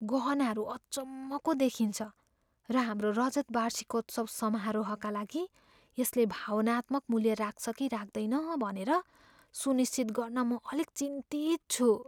गहनाहरू अचम्मको देखिन्छ र हाम्रो रजत वार्षिकोत्सव समारोहका लागि यसले भावनात्मक मूल्य राख्छ कि राख्दैन भनेर सुनिश्चित गर्न म अलिक चिन्तित छु।